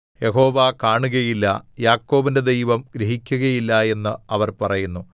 യഹോവ കാണുകയില്ല യാക്കോബിന്റെ ദൈവം ഗ്രഹിക്കുകയില്ല എന്ന് അവർ പറയുന്നു